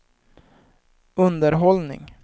underhållning